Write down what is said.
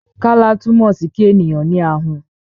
Kálá túmọ̀ sí kí ènìyàn ní ahun